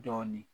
Dɔɔnin